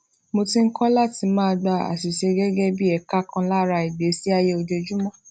mo ti ń kó láti máa gba àṣìṣe gégé bí eka kan lara ìgbésí ayé ojoojúmó